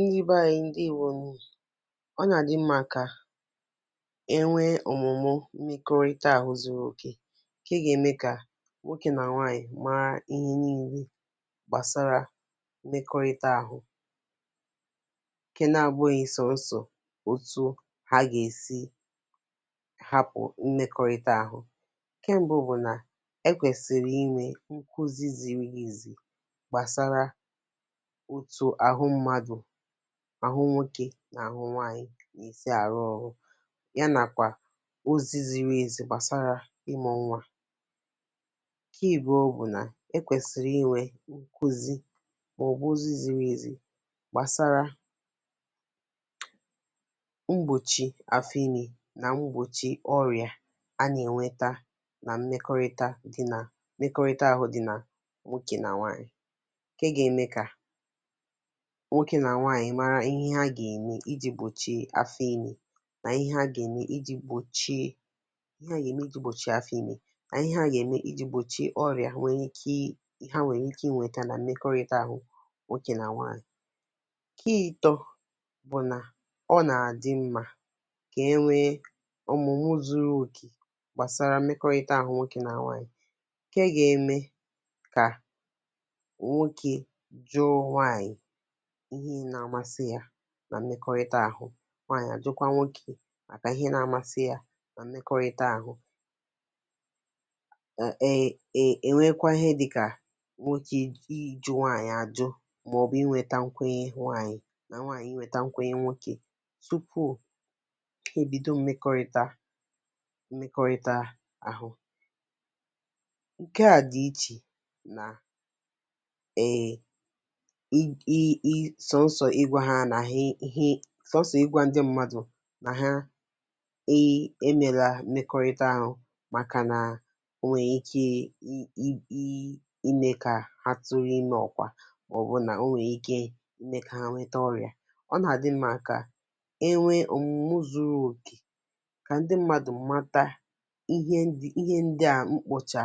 Ndị beanyị ndewonu, ọ nà-àdị mmȧ kà e nwee ọ̀mụ̀mụ mmekọrịta àhụ zuru oke ǹkè ga-eme kà nwoke nà nwaanyị̀ màà ihe n’ile gbàsara mmekọrịta àhụ ǹkè na-abụ̇ghị sọ̀nsọ̀ otu ha gà-èsi hapụ̀ mmekọrịta àhụ. Ńkè mbụ bụ̀ nà e kwèsịrị inwė ǹkùzi ziri izì gbàsara otu àhụ mmadụ, àhụ nwokė nà àhụ nwaanyị̇ nà esii àrụ ọ̇rụ, ya nàkwà ozi ziri ezi̇ gbàsara ịmụ̇ nwȧ. Ke ịbụọ bụ̀ nà e kwèsịrị inwė nkụzi màọ̀bụ̀ ozi ziri ezi̇ gbàsara mgbòchi afọ ime nà mgbòchi ọrị̀à a nà-ènweta nà mmekọrịta di nà mmekọrịta àhụ di nà nwokė nà nwaanyị̇ ke ga-eme ka nwoke na nwanyị mara ihe ha ga-eme iji̇ gbochie afọ i̇me nà ihe ha gè eme iji̇ gbòchie ihe a ga-eme iji àgbòchie afọ ime nà ihe ha ga-eme iji gbochie afọ ime na ihe à gè eme iji̇ gbòchie ọrịà nwère ike ha nwere i i̇kė inwėtȧ nà mmekọrịta àhụ nwokė nà nwaànyị̀. Ki ịtọ̇ bụ̀ nà ọ nà àdị mmȧ kẹ nwee ọmụmụ zuru òkè gbàsara mmekọrịta àhụ nwokė nà nwaànyị̀ ǹkẹ gà-eme kà nwokè jụ nwanyị ihe na-amasị ya na mmekọrịta ahụ, nwanyị à jụ̀kwa nwokè màkà ihe na-àmasị yȧ nà mmekọrịta àhụ. um è nwekwa ihe dịkà nwokè um ịjụ nwanyị̀ àjụ màọ̀bụ̀ inwėtȧ nkwenye nwanyị̀ nà nwanyị̀ inwėtȧ nkwenye nwokè tupu he ebido mmekọrịta mmekọrịta àhụ. Nke à dị ichè nà um sọnsọ̀ ịgwȧ ndị mmadụ̀ nà [um um] sọnsọ ịgwa ndị mmadụ na ha um mela mmekọrịta ahụ̀ màkà nà o nwè ike um mekà ha tụrụ imė ọkwà màọ̀bụ̀ nà o nwè ike i mekà ha nwete ọrị̀à. Ọ nà-àdị mma kà e nwee òmùmù zuru òkè kà ndi mmadụ̀ mmata ihe ndi ihe ndi a m kpọchà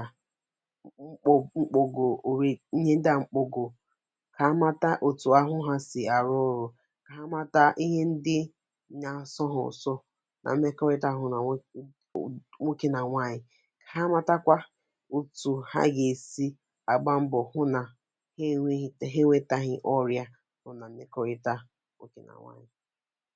m kpogo ri ihe ndi a mkpogo ha mata otu ahụ ha si arụ ọrụ ka ha mata ihe ndị na-asọ hȧ ụsọ nà mmekọrịta ȧhụ na nwokė nà nwànyị̀, kà ha matakwa otù ha gà-èsi àgba mbọ̀ hụ nà ha enwėghi̇ ha enwėtȧghị̇ ọrị̇ȧ nọ nà mmekọrịta nwokè nà nwànyị̀.